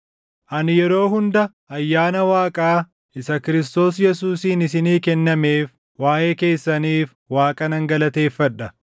Ani yeroo hunda ayyaana Waaqaa isa Kiristoos Yesuusiin isinii kennameef waaʼee keessaniif Waaqa nan galateeffadha.